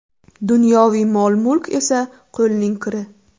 Dunyoviy mol-mulk esa qo‘lning kiri.